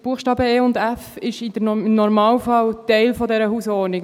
Die Buchstaben e und f sind im Normalfall Teil dieser Hausordnung.